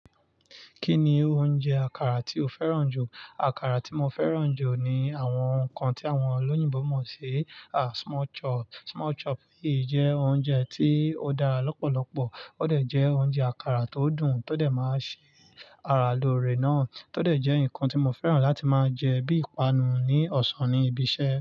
Kí ni oúnjẹ àkàrà tí o fẹ́ràn jù? Àkàrà tí mo fẹ́ràn jù ni àwọn nǹkan tí àwọn olóyìnbo mọ̀ sí small chop. Small chop yìí jẹ́ oúnjẹ tí ó dára lọ́pọ̀lọpọ̀, ó dẹ̀ jẹ́ oúnjẹ àkàrà tó dùn tó dẹ̀ máa sì ara lóre náà, tó dẹ̀ jẹ́ nǹkan tí mo fẹ́ràn láti máa jẹ bí ìpanu ní ọ̀sán níbi iṣẹ́.